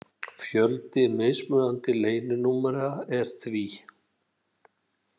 Fjöldi mismunandi leyninúmera er því